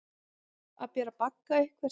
Að bera bagga einhvers